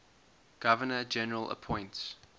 governor general appoints